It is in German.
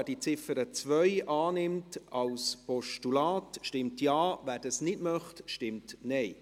Wer die Ziffer 2 als Postulat annimmt, stimmt Ja, wer das nicht möchte, stimmt Nein.